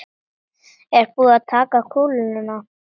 Er búið að taka kúluna?